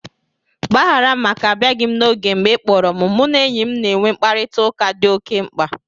Gbaghara m maka abịaghị n' oge m. Mgbe ị kpọrọ m, mụ na enyi m na-enwe mkparịtaụka dị oke mkpa